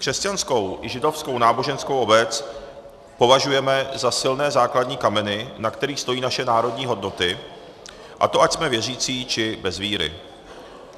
Křesťanskou i židovskou náboženskou obec považujeme za silné základní kameny, na kterých stojí naše národní hodnoty, a to ať jsme věřící, či bez víry.